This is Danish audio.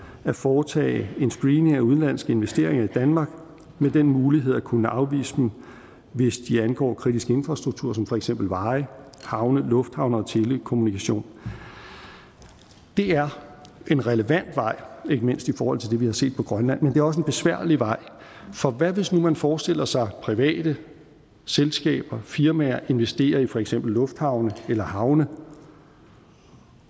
at foretage en screening af udenlandske investeringer i danmark med den mulighed at kunne afvise dem hvis de angår kritisk infrastruktur som for eksempel veje havne lufthavne og telekommunikation det er en relevant vej ikke mindst i forhold til det vi har set på grønland men også en besværlig vej for hvad hvis nu man forestiller sig private selskaber firmaer investere i for eksempel lufthavne eller havne